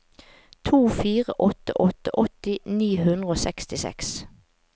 to fire åtte åtte åtti ni hundre og sekstiseks